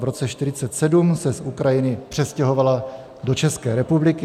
V roce 1947 se z Ukrajiny přestěhovala do České republiky.